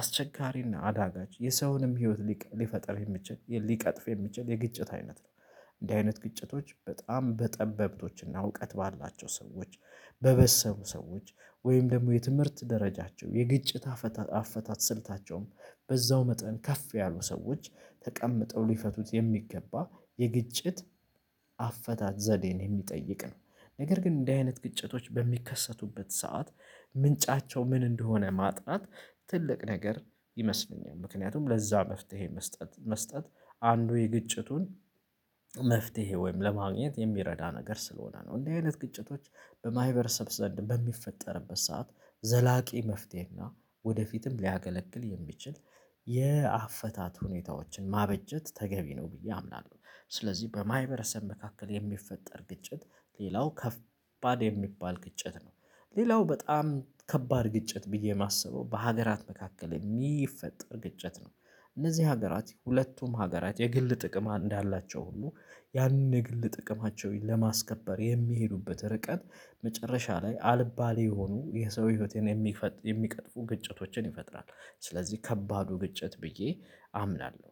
አስቸጋሪ እና አዳጋች የሰውንም ህይወት ሊፈጥር የሚችል ሊቀጥፍ የሚችል የግጭት አይነት ነው። እንዲህ አይነት ግጭቶች በጣም በጠበብቶችና እውቀት ባላቸው ሰዎች በበሰሉ ሰዎች ወይም ደግሞ የትምህርት ደረጃቸው የግጭት አፈታት አፈታት ስልታቸውም በዛው መጠን ከፍ ያሉ ሰዎች ተቀምጠው ሊፈቱት የሚገባ የግጭት አፈታት ዘዴን የሚጠይቅ ነው። ነገር ግን እንደዚህ አይነት ግጭቶች በሚከሰቱበት ሰዓት ምንጫቸው ምን እንደሆነ ማጥናት ትልቅ ነገር ይመስለኛል። ምክንያቱም ለዛ መፍትሄ መስጠት መስጠት አንዱ የግጭቱን መፍትሄ ወይም ለማግኘት የሚረዳ ነገር ስለሆነ ነው። እንደዚህ አይነት ግጭቶች በማህበረሰብ ዘንድ በሚፈጠርበት ሰዓት ዘላቂ መፍትሄና ወደፊትም ሊያገለግል የሚችል የአፈታት ሁኔታዎችን ማበጀት ተገቢ ነው ብዬ አምናለሁ። ስለዚህ በማህበረሰብ መካከል የሚፈጠር ግጭት ሌላው ከፍ ከባድ የሚባል ግጭት ነው። ሌላው በጣም ከባድ ግጭት ብዬ የማስበው በሀገራት መካከል የሚፈጠር ግጭት ነው። እነዚህ ሀገራት ሁለቱም ሀገራት የግል ጥቅም እንዳላቸው ሁሉ ያንን የግል ጥቅማቸውን ለማስከበር የሚሄዱበት ርቀት መጨረሻ ላይ አልባሌ የሆኑ የሰው ህይወቴን የሚፈጥሩ የሚቀጥፉ ግጭቶችን ይፈጥራል። ስለዚህ ከባዱ ግጭት ብዬ አምናለሁ።